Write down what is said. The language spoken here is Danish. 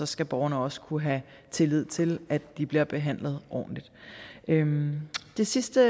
skal borgerne også kunne have tillid til at de bliver behandlet ordentligt det sidste